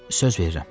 Söz verirəm.